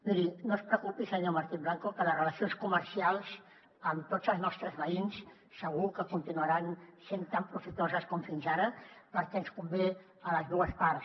miri no es preocupi senyor martín blanco que les relacions comercials amb tots els nostres veïns segur que continuaran sent tan profitoses com fins ara perquè ens convé a les dues parts